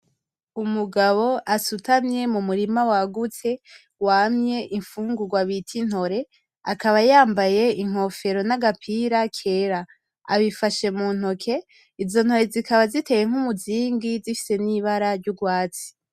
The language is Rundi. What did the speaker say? Umugabo asutamye mumurima wagutse wamye imfungugwa bita intore akaba yambaye inkofero nagapira kera abifashe muntoke izo ntore zikaba ziteye nk’umuzingi zifise nibara ryugwatsi.